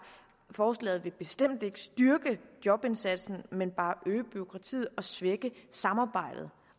forslaget vil bestemt ikke styrke jobindsatsen men bare øge bureaukratiet og svække samarbejdet